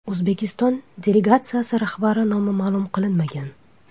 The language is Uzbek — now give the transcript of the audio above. O‘zbekiston delegatsiyasi rahbari nomi ma’lum qilinmagan.